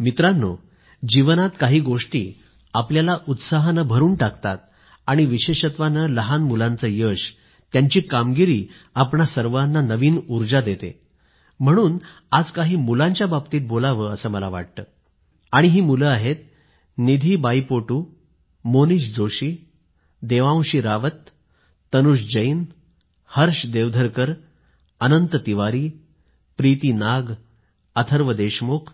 मित्रांनो जीवनात काही गोष्टी उत्साह भरून टाकतात आणि विशेषत्वाने लहान मुलांचे यश त्यांची कामगिरी आपणा सर्वाना नवीन उर्जा देते आणि म्हणून आज काही मुलांच्या बाबत मला बोलावं वाटत आहे आणि ही मुलं आहेत निधी बाईपोटू मोनीष जोशी देवांशी रावत तनुष जैन हर्ष देवधरकअनंत तिवारी प्रीती नाग अथर्व देशमुख